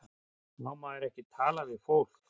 Má maður ekki tala við fólk?